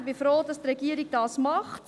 Ich bin froh, dass die Regierung das macht.